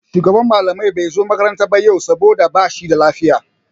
Shugaban malamai bai zo makaranta ba yau saboda ba shi da lafiya.